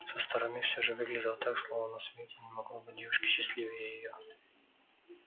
со стороны всё же выглядело так словно на свете не могло быть девушки счастливее её